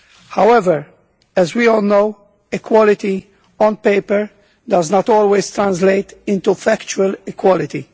However, as we all know, equality on paper does not always translate into factual equality.